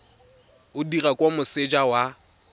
o dirwa kwa moseja wa